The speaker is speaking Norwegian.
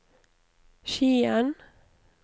Skien